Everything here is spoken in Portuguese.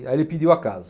E aí ele pediu a casa.